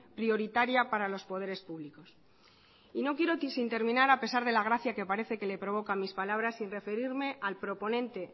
prioritaria para los poderes públicos y no quiero irme sin terminar a pesar la gracia que parece que le provoca mis palabras sin referirme al proponente